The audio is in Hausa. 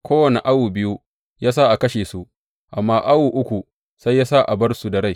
Kowane awo biyu ya sa a kashe su, amma awo na uku sai yă sa a bar su da rai.